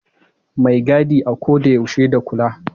Mai gadi a ko da yaushe da kula.